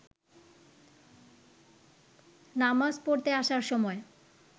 নামাজ পড়তে আসার সময়